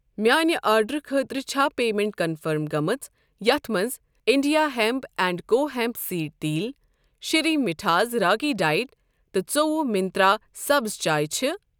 میانہِ آرڈرُٕ خٲطرٕ چھا پیمیٚنٹ کنفٔرم گٔمٕژ یتھ مَنٛز India hemp and co hemp seed تیل شرٛی مٹھاز راگی ڈایٹ تہٕ ۲۴ منٛترٛا سبٕز چاے چھ؟